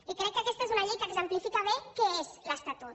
i crec que aquesta és una llei que exemplifica bé què és l’estatut